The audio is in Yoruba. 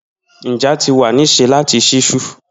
Nja ti wa ni se lati ṣiṣu.